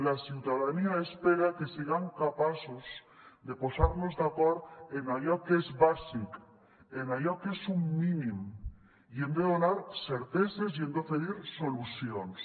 la ciutadania espera que siguem capaços de posar nos d’acord en allò que és bàsic en allò que és un mínim i hem de donar certeses i hem d’oferir solucions